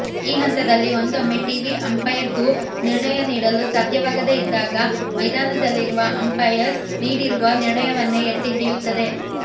ಈ ಹಂತದಲ್ಲಿ ಒಂದೊಮ್ಮೆ ಟಿವಿ ಅಂಪೈರ್ಗೂ ನಿರ್ಣಯ ನೀಡಲು ಸಾಧ್ಯವಾಗದೇ ಇದ್ದಾಗ ಮೈದಾನದಲ್ಲಿರುವ ಅಂಪೈರ್ ನೀಡಿರುವ ನಿರ್ಣಯವನ್ನೇ ಎತ್ತಿಹಿಡಿಯುತ್ತದೆ